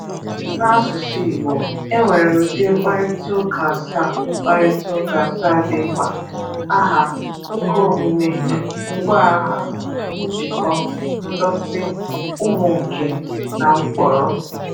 N’asusy Igbo, e nwere udi mkparita ụka asaa mkparita ụka asaa di mkpa Aha, Ukaomume, Ngwaaha, Njiko, Ndoti, Umunke, na mkporo